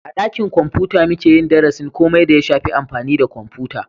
A dakin kwamfuta muke yin darasin komai da ya shafi amfani da kwamfuta